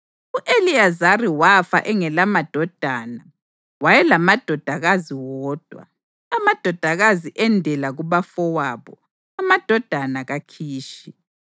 U-Eliyezari wafa engelamadodana: wayelamadodakazi wodwa. Amadodakazi endela kubafowabo, amadodana kaKhishi.